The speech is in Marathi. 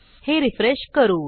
हे रिफ्रेश करू